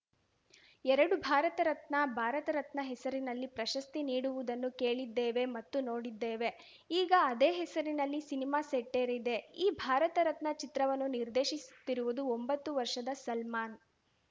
ಎರಡು ಭಾರತ ರತ್ನ ಭಾರತರತ್ನ ಹೆಸರಿನಲ್ಲಿ ಪ್ರಶಸ್ತಿ ನೀಡುವುದನ್ನು ಕೇಳಿದ್ದೇವೆ ಮತ್ತು ನೋಡಿದ್ದೇವೆ ಈಗ ಅದೇ ಹೆಸರಿನಲ್ಲಿ ಸಿನಿಮಾ ಸೆಟ್ಟೇರಿದೆ ಈ ಭಾರತರತ್ನ ಚಿತ್ರವನ್ನು ನಿರ್ದೇಶಿಸುತ್ತಿರುವುದು ಒಂಬತ್ತು ವರ್ಷದ ಸಲ್ಮಾನ್‌